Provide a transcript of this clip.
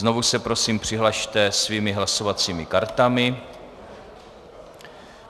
Znovu se prosím přihlaste svými hlasovacími kartami.